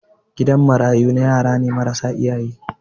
gidan marayu na yarane marasa iyaye